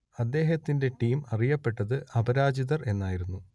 അദ്ദേഹത്തിന്റെ ടീം അറിയപ്പെട്ടത് അപരാജിതർ എന്നായിരുന്നു